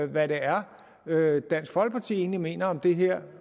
hvad det er dansk folkeparti egentlig mener om det her